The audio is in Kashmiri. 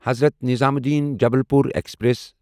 حضرت نظامودیٖن جبلپور ایکسپریس